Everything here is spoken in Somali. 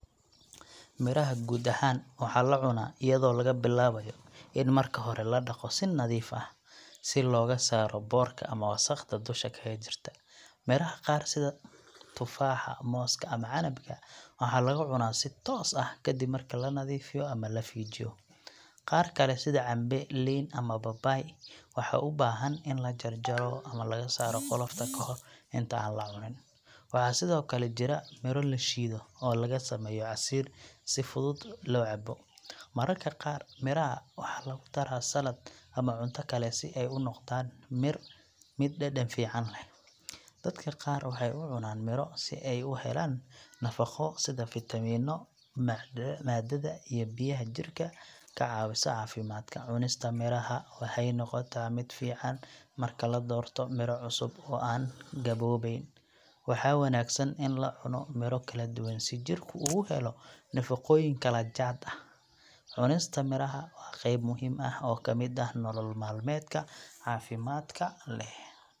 Miraha guud ahaan waxaa la cunaa iyadoo laga bilaabayo in marka hore la dhaqo si nadiif ah, si looga saaro boodhka ama wasakhda dusha kaga jirta. Miraha qaar sida tufaaxa, mooska ama canabka waxaa lagu cunaa si toos ah kadib marka la nadiifiyo ama la feejiyo. Qaar kale sida cambe, liin ama babaay waxaa u baahan in la jarjaro ama laga saaro qolofta ka hor inta aan la cunin. Waxaa sidoo kale jira miro la shiido oo laga sameeyo casiir si fudud loo cabo. Mararka qaar miraha waxaa lagu daraa salad ama cunto kale si ay u noqdaan mid dhadhan fiican leh. Dadka qaar waxay u cunaan miro si ay u helaan nafaqo sida fiitamiinnada iyo maadada biyaha oo jidhka ka caawisa caafimaadka. Cunista miraha waxay noqotaa mid fiican marka la doorto miro cusub oo aan gaboobayn. Waxaa wanaagsan in la cuno miro kala duwan si jidhku uga helo nafaqooyin kala jaad ah. Cunista miraha waa qayb muhiim ah oo ka mid ah nolol maalmeedka caafimaadka leh.